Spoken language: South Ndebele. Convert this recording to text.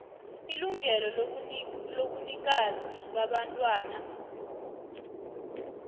ilungelo lobunikazi babantwana